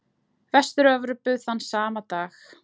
Vestur-Evrópu þann sama dag.